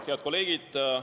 Head kolleegid!